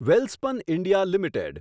Welspun India limited